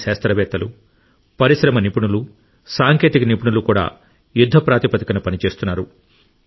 మన శాస్త్రవేత్తలు పరిశ్రమ నిపుణులు సాంకేతిక నిపుణులు కూడా యుద్ధ ప్రాతిపదికన పనిచేస్తున్నారు